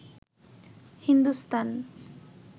Hindustan